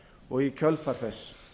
og í kjölfar þess